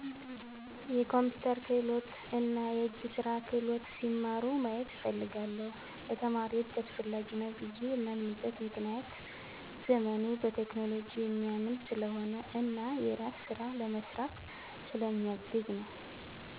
የኮምፒተር ክህሎት እና የእጅ ስራ ክህሎት ሲማሩ ማየት እፈልጋለሁ። ለተማሪዎች አስፈላጊ ነው ብየ የማምንበት ምክንያት ዘመኑ በቴክኖሎጂ የሚያምን ስለሆነ እና የራስን ስራ ለመስራት ስለ ሚያግዝ ነወ።